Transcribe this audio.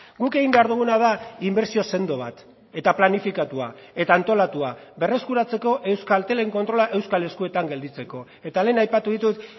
guk egin behar duguna da inbertsio sendo bat eta planifikatua eta antolatua berreskuratzeko euskaltelen kontrola euskal eskuetan gelditzeko eta lehen aipatu ditut